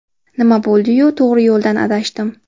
Nima bo‘ldi-yu, to‘g‘ri yo‘ldan adashdim!